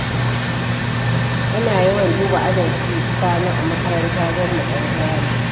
Ina yawan duba ajin su Sani a makaranta don mu ɗan gana.